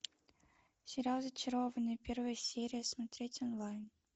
сериал зачарованные первая серия смотреть онлайн